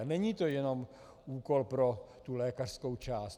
A není to jenom úkol pro tu lékařskou část.